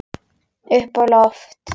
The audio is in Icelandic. Upp á loft.